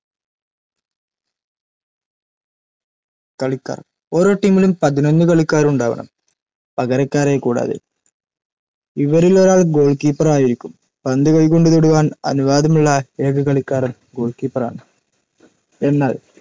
കളിക്കാർ ഓരോ ടീമിലും പതിനൊന്നു കളിക്കാരുണ്ടാവണം പകരക്കാരെ കൂടാതെ. ഇവരിലൊരാൾ ഗോൾകീപ്പർ ആയിരിക്കും പന്തു കൈകൊണ്ടു തൊടുവാൻ അനുവാദമുളള ഏക കളിക്കാരൻ ഗോൾ കീപ്പറാണ്‌ എന്നാൽ